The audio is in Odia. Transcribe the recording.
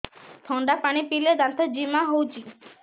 ଥଣ୍ଡା ପାଣି ପିଇଲେ ଦାନ୍ତ ଜିମା ହଉଚି